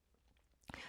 TV 2